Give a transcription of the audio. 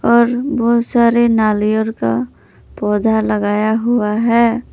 और बहुत सारे नालियर का पौधा लगाया हुआ है।